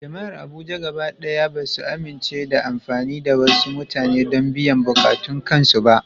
Jama’ar Abuja gaba ɗaya ba su amince da amfani da wasu mutane don biyan buƙatun kansu ba.